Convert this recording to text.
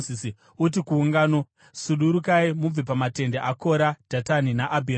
“Uti kuungano, ‘Sudurukai mubve pamatende aKora, Dhatani naAbhiramu.’ ”